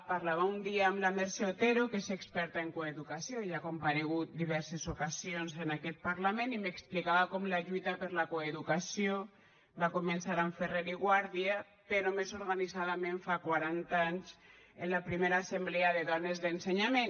parlava un dia amb la mercè otero que és experta en coeducació i ha comparegut diverses ocasions en aquest parlament i m’explicava com la lluita per la coeducació va començar amb ferrer i guàrdia però més organitzadament fa quaranta anys amb la primera assemblea de dones d’ensenyament